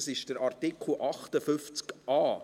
Es ist Artikel 58a.